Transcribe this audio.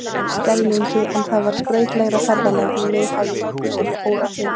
Skeljungi en það varð skrautlegra ferðalag en mig hafði nokkru sinni órað fyrir.